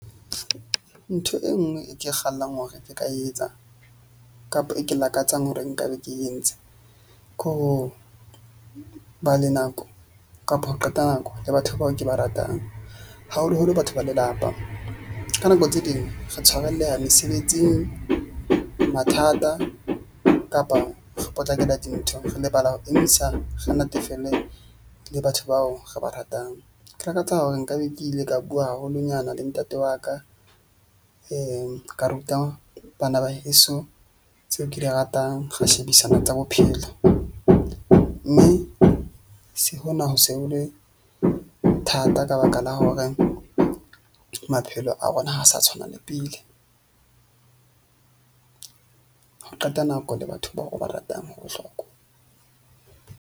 Ntho e nngwe e ke e kgallang hore re ka etsa kapa e ke lakatsang hore nka be ke entse, ke ho ba le nako kapa ho qeta nako le batho bao ke ba ratang, haholoholo batho ba lelapa. Ka nako tse ding re tshwarelleha mesebetsing, mathata kapa re potlakela dintho, re lebala ho emisa, re natefelwe le batho bao re ba ratang. Ke lakatsa hore nka be ke ile ka bua haholonyana le ntate wa ka ka ruta bana ba heso tseo ke di ratang. Ho shebisana tsa bophelo, mme se hona ho se ho le thata ka baka la horeng maphelo a rona ha sa tshwana le pele ho qeta nako le batho bao re ba ratang ho bohlokwa.